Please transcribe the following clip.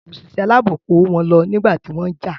Òṣìṣẹ́ aláàbò kó wọn lọ nígbà tí wọ́n jà.